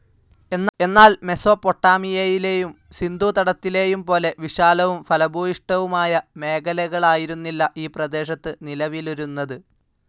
എന്നാൽ മെസോപ്പൊട്ടാമിയയിലെയും സിന്ധൂതടത്തിലെയും പോലെ വിശാലവും ഫലഭൂയിഷ്ടവുമായ മേഖലകാലായിരുന്നില്ല ഈ പ്രദേശത് നിലവിലിരുന്നതു.